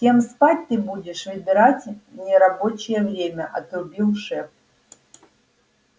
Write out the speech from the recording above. с кем спать ты будешь выбирать в нерабочее время отрубил шеф